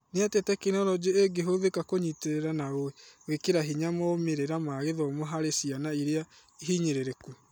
Nĩatĩ tekinoronjĩ ĩngĩhũthĩka kũnyitĩrĩra na gũĩkĩra hinya moimĩrĩra ma gĩthomo harĩ ciana ĩrĩa hinyĩrĩrĩku ?